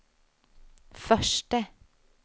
förste